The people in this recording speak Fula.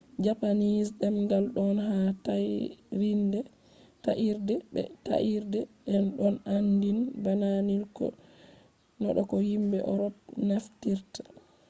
japanese ɗengal ɗon yaha ta'irde be ta'irde e ɗon aandin bana nil do ko yimɓe eropnaftirta